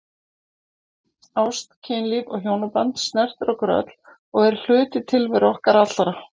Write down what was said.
Ást, kynlíf og hjónaband snertir okkur öll og er hluti tilveru okkar allra.